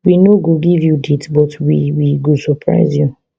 we no go give you date but we we go surprise you